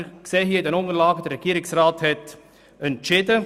Wie wir in den Unterlagen sehen, hat der Regierungsrat entschieden.